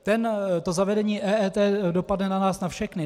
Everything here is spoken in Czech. To zavedení EET dopadne na nás na všechny.